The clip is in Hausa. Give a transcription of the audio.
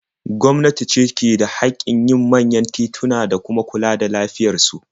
Gwamnati ce ke da haƙƙin yin manyan tituna da kuma kula da lafiyar su.